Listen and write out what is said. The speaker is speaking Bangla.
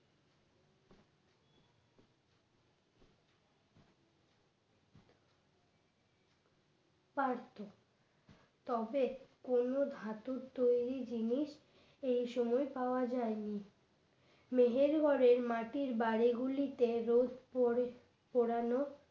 পারতো তবে কোনো ধাতুর তৈরি জিনিস এই সময় পাওয়া যায়নি, মেহেরগড়ের মাটির বাড়িগুলিতে রোজ পড়ে পোড়ানো